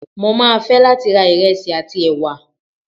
mo ma fe latí ra iresí atí ewá